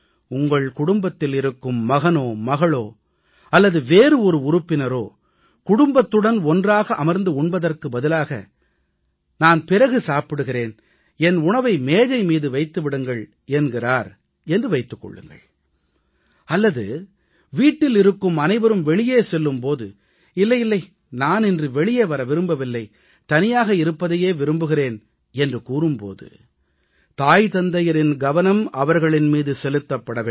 உங்கள் குடும்பத்தில் இருக்கும் மகனோ மகளோ அல்லது வேறு ஒரு உறுப்பினரோ குடும்பத்துடன் ஒன்றாக அமர்ந்து உண்பதற்கு பதிலாக நான் பிறகு சாப்பிடுகிறேன் என் உணவை மேஜை மீது வைத்து விடுங்கள் என்கிறார் என்று வைத்துக் கொள்ளுங்கள் அல்லது வீட்டில் இருக்கும் அனைவரும் வெளியே செல்லும் போது இல்லை இல்லை நான் இன்று வெளியே வர விரும்பவில்லை தனியாக இருப்பதையே விரும்புகிறேன் என்று கூறும் போது தாய்தந்தையரின் கவனம் அவர்களின் மீது செலுத்தப்பட வேண்டும்